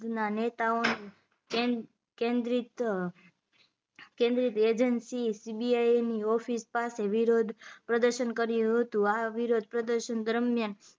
ના નેતાઓનો કેન્દ કેન્દ્રીત કેન્દ્રીત એંજન્સી CBI ની ઓફિસ પાસે વિરોધ પ્રદશન કર્યું હતું આ વિરોધ પ્રદર્શન દરમિયાન